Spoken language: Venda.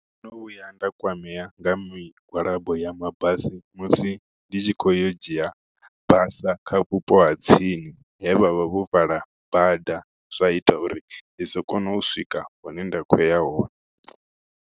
Ndo no vhuya nda kwamea nga migwalabo ya mabasi musi ndi tshi khou yo dzhia basa kha vhupo ha tsini he vhavha vho vala bada zwa ita uri ndi si kone u swika hune nda khoya hone.